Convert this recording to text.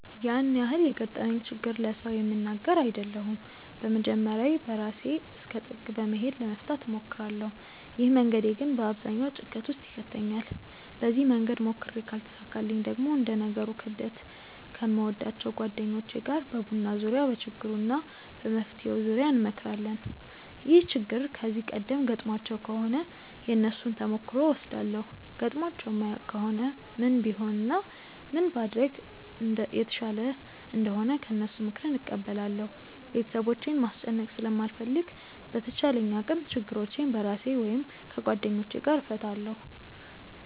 ያን ያህል የገጠመኝን ችግር ለሰው የምናገር አይደለሁም በመጀመርያ በራሴ እስከ ጥግ በመሄድ ለመፍታት እሞክራለው። ይህ መንገዴ ግን በአብዛኛው ጭንቀት ውስጥ ይከተኛል። በዚህ መንገድ ሞክሬ ካልተሳካልኝ ደግሞ እንደ ነገሩ ክብደት ከምወዳቸው ጓደኞቼ ጋር በቡና ዙርያ በችግሩ እና በመፍትሄው ዙርያ እንመክራለን። ይህ ችግር ከዚህ ቀደም ገጥሟቸው ከሆነ የነሱን ተሞክሮ እወስዳለው ገጥሟቸው የማያውቅ ከሆነ ምን ቢሆን እና ምን ባደርግ የተሻለ እንደሆነ ከነሱ ምክርን እቀበላለው። ቤተሰቦቼን ማስጨነቅ ስለማልፈልግ በተቻለኝ አቅም ችግሮቼን በራሴ ወይም ከጓደኞቼ ጋር እፈታለው።